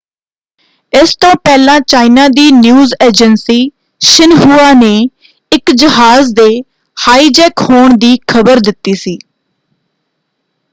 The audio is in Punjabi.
ਇਸ ਤੋਂ ਪਹਿਲਾਂ ਚਾਈਨਾ ਦੀ ਨਿਊਜ਼ ਏਜੰਸੀ ਸ਼ਿਨਹੁਆ ਨੇ ਇੱਕ ਜਹਾਜ ਦੇ ਹਾਈਜੈਕ ਹੋਣ ਦੀ ਖਬਰ ਦਿੱਤੀ ਸੀ।